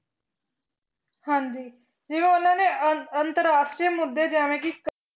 ਹਾਂਜੀ ਜਿਵੇਂ ਉਹਨਾਂ ਨੇ ਅੰ~ ਅੰਤਰ ਰਾਸ਼ਟਰੀ ਮੁੱਦੇ ਜਿਵੇਂ ਕਿ